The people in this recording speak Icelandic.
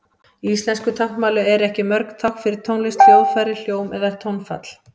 Í íslensku táknmáli eru ekki mörg tákn fyrir tónlist, hljóðfæri, hljóm eða tónfall.